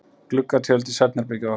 Gluggatjöld í svefnherbergið okkar.